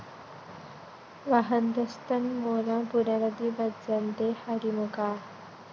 വഹന്തസ്ത്വന്മൂലാം പുനരപി ഭജന്തേ ഹരിമുഖാഃ